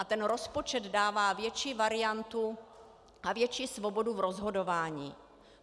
A ten rozpočet dává větší variantu a větší svobodu v rozhodování.